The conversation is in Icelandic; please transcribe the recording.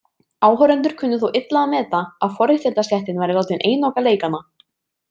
Áhorfendur kunnu þó illa að meta að forréttindastéttin væri látin einoka leikana.